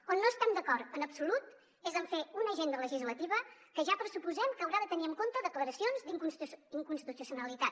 on no estem d’acord en absolut és en fer una agenda legislativa que ja pressuposem que haurà de tenir en compte declaracions d’inconstitucionalitat